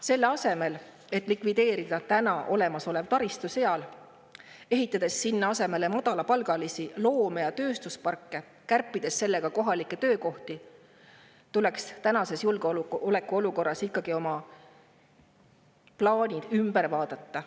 Selle asemel, et likvideerida seal olemasolev taristu ja ehitada sinna asemele madalapalgaliste loome‑ ja tööstusparke, kärpides sellega kohalikke töökohti, tuleks tänases julgeolekuolukorras oma plaanid ümber vaadata.